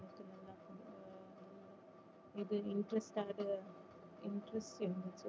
இது interest interest இருந்தது